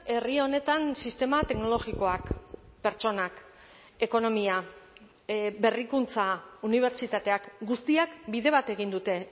herri honetan sistema teknologikoak pertsonak ekonomia berrikuntza unibertsitateak guztiak bide bat egin dute